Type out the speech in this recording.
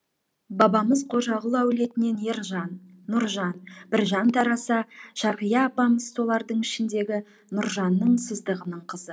бабамыз қожағұл әулетінен ержан нұржан біржан тараса шарғия апамыз солардың ішіндегі нұржанның сыздығының қызы